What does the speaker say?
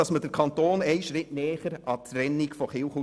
Wie Sie sehen, kenne ich die Bibel ein bisschen.